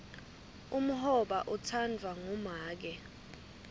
umhoba utsandvwa ngumake